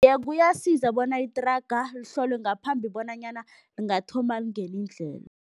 Iye, kuyasiza bona ithraga lihlolwe ngaphambi bonanyana lingathoma lingene indlela.